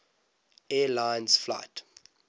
air lines flight